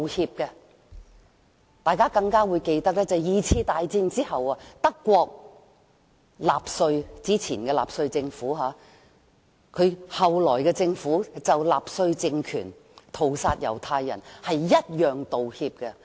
相信大家也會記得在第二次世界大戰後，德國政府同樣就納粹政權屠殺猶太人作出道歉。